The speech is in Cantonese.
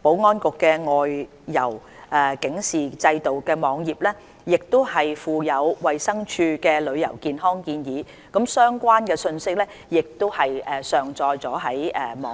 保安局的"外遊警示制度"網頁亦附有衞生署的旅遊健康建議，有關的訊息亦已上載至該網頁。